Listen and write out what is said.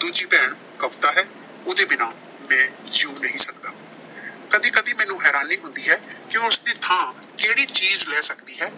ਦੂਜੀ ਭੈਣ ਕਵਿਤਾ ਹੈ, ਉਹਦੇ ਬਿਨਾਂ ਮੈਂ ਜਿਊਂ ਨਹੀਂ ਸਕਦਾ। ਕਦੀ-ਕਦੀ ਮੈਨੂੰ ਹੈਰਾਨੀ ਹੁੰਦੀ ਹੈ ਕਿ ਉਸਦੀ ਥਾਂ ਹੋਰ ਕਿਹੜੀ ਚੀਜ਼ ਲੈ ਸਕਦੀ ਹੈ.